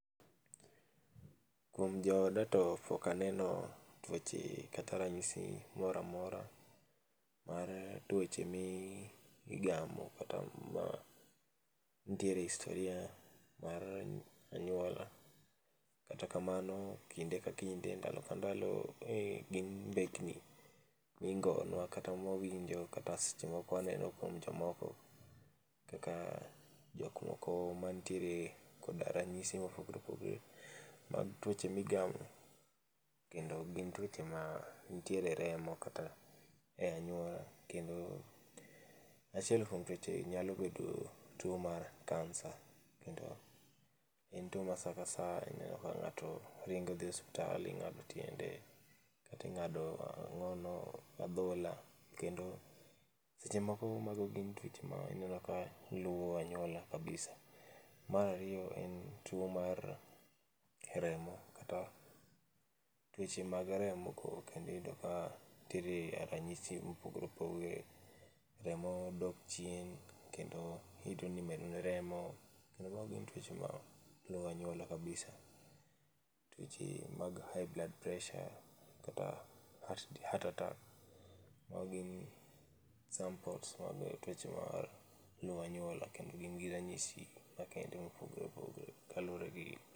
kuom jooda to pok aneno tuoche kata ranyisi mora amora, mar tuoche mi igamo kata ma nitiere historia mar anyuola. Kata kamano, kinde ka kinde ndalo ka ndalo e gin mbeki mingonwa kata mwawinjo kata seche moko waneno kuom jomoko kaka jok moko mantiere koda ranyisi mopogre opogre mag tuoche migamo kendo gin tuoche ma nitiere e remo kata e anyuola kendo, achiel kuom tuoche nyalo bedo tuo mar kansa kendo en tuo ma sa ka saa ineno ka g'ato ringo dhi e osuptal ing'ado tiende kata ing'ado ang'ono adhola kendo, seche moko mago gin tuoche ma ineno ka luwo anyuola kabisa. Mar ariyo en tuo mar remo kata tuoche mag remo kendo iyudo ka teri e ranyiso mogore opogore. Remo dok chien, kendo irito ni imedoni remo, kendo mano gin tuoche ma luwo anyuola kabisa. Tuoche mag high blood pressure kata heart heart attack. Mago gin samples mag tuoche mar luwo anyuola kendo gin gi ranyisi makende mopogore opogore kaluwore gi